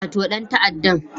Wato dan ta'addan